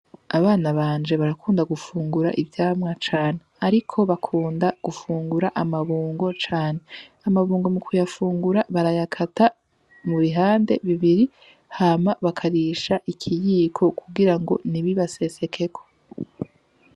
Abana banje barakunda gufungura ivyamwa cane, ariko bakunda gufungura amabungo cane. Amabungo mu kuyafungura barayakata mu bihande bibiri, hama bakarisha ikiyiko kugira ntibibasesekeko.